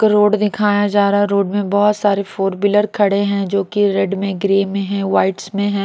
Road दिखाया जा रहा है रोड में बहुत सारे फोर व्हीलर खड़े हैं जो की रेड में ग्रे में है व्हाईट्स में है।